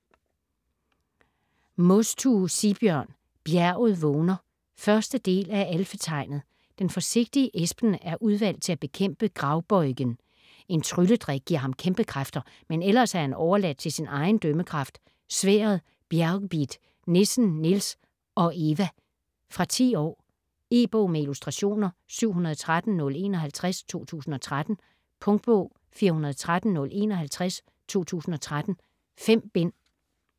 Mostue, Sigbjørn: Bjerget vågner 1. del af Alfetegnet. Den forsigtige Espen er udvalgt til at bekæmpe Gravbøjgen. En trylledrik giver ham kæmpekræfter, men ellers er han overladt til sin egen dømmekraft, sværdet Bjergbid, nissen Nils og - Eva. Fra 10 år. E-bog med illustrationer 713051 2013. Punktbog 413051 2013. 5 bind.